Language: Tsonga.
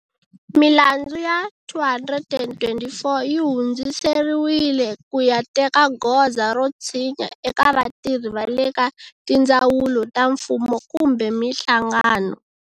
Milandzu ya 224 yi hundziseriwile ku ya teka goza ro tshinya eka vatirhi va le ka tindzawulo ta mfumo kumbe mihlangano.